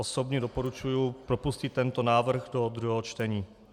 Osobně doporučuji propustit tento návrh do druhého čtení.